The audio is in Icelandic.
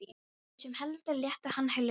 Þeir sem héldu létu hann lausan.